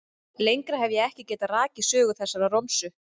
Lengra hef ég ekki getað rakið sögu þessarar romsu.